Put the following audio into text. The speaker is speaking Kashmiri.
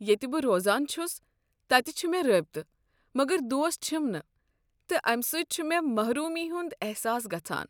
ییٚتہ بہٕ روزان چھُس تتہِ چھِ مےٚ رٲبطہٕ مگر دوست چھِم نہٕ تہٕ امہ سۭتۍ چھُ مے٘ محرومی ہُنٛد احساس گژھان۔